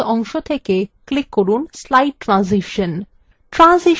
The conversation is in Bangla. tasks অংশ থেকে click from slide ট্রানজিশন